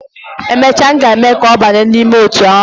Emecha, aga eme ya ka oba nime otu ahu